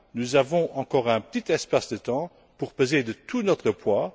Nous avons encore un petit espace de temps pour peser de tout notre poids.